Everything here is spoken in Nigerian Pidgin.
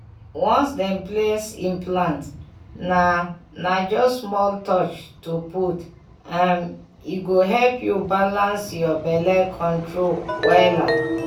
once dem place implant na na just small touch to put m— e go help you balance your belle control wela.